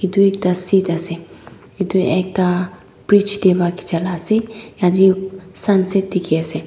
etu ekta ase edu ekta bridge de para khichie la ase yete sunset dikhi ase.